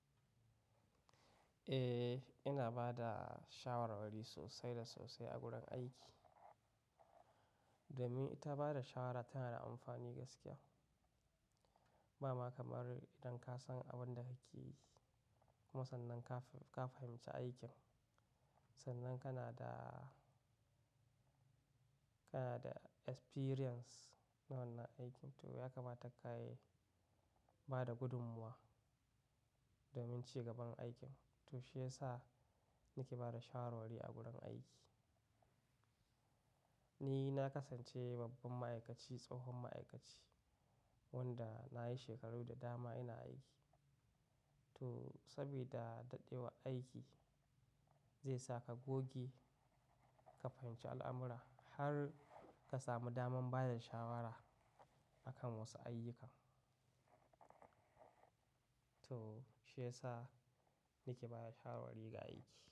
Eh, ina ba da shawarwari sosai da sosai a gurin aiki. Domin ita bada shawara tana da amfani gaskiya. Ba ma kamar idan ka san abin da kake yi kuma sannan ka fahimci aikin, sannan kana da, kana da experience na wannan aikin. To, ya kamata ka yi bada gudummuwa domin ci gaban aikin. To shiyasa nake bada shawarwari a gurin aiki. Ni na kasance babban ma'aikaci, tsohon ma'aikaci wanda na yi shekaru da dama ina aiki. To, saboda daɗewa aiki zai sa ka goge ka fahimci al'amura har ka samu daman bada shawara a kan wasu ayyukan. To shiyasa nake bada shawarwari ga aiki.